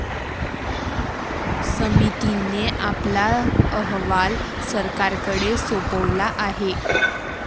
समितीने आपला अहवाल सरकारकडे सोपवला आहे.